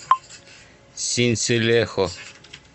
синселехо